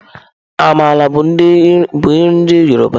Àmàla bụ nri ndị yọrọba.